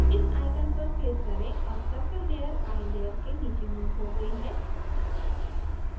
इस icon पर click करें अब circle layer eye layer के नीचे moved हो गयी है